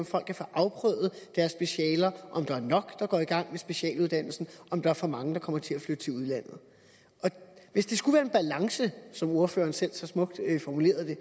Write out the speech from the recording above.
folk kan få afprøvet deres specialer om der er nok der går i gang med specialuddannelsen og om der er for mange der kommer til at flytte til udlandet hvis der skulle være en balance som ordføreren selv så smukt formulerede det